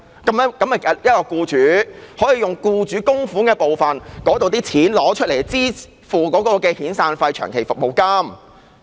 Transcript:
那便是僱主可以使用僱主供款的部分，用作支付僱員的遣散費和長期服務金。